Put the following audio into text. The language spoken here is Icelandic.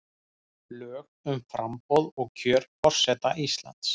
Lög um framboð og kjör forseta Íslands.